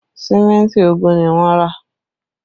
Símẹ́ntì ogún ni wọ́n rà